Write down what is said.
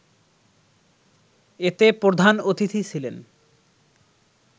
এতে প্রধান অতিথি ছিলেন